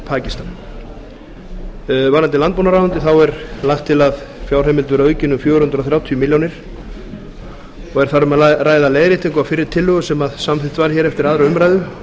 pakistan varðandi landbúnaðarráðuneytið er lagt til að fjárheimild verði aukin um fjögur hundruð þrjátíu milljónir og er þar um að ræða leiðréttingu á fyrri tillögu sem samþykkt var eftir aðra umræðu